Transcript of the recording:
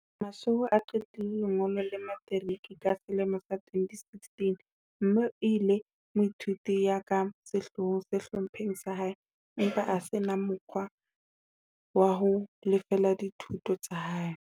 Mashego o qetile lengolo la materiki ka selemo sa 2016 mme e le moithuti ya ka sehloohong sehlopheng sa hae, empa a se na mo kgwa wa ho lefella dithuto tsa hae.